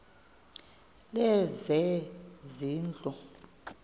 lezezindlu